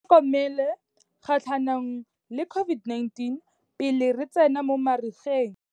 Itlhokomele kgatlhanong le COVID-19 pele re tsena mo marigeng.